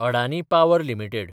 Adani power limited